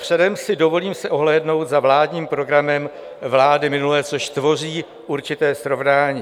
Předem si dovolím se ohlédnout za vládním programem vlády minulé, což tvoří určité srovnání.